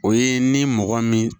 O ye ni mɔgɔ min